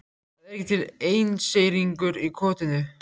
Það er ekki til einseyringur í kotinu.